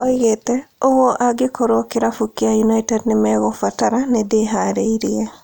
Oigĩte "Oguo, angĩkorwo kĩrabu kĩa United nĩmegũbatara, nĩndĩharĩirie"